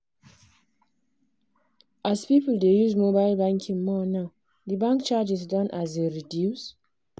as people dey use mobile banking more now di bank charges don um reduce.